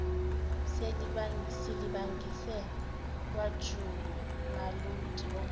silibangise kwajamuludi ongazi